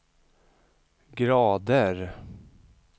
grader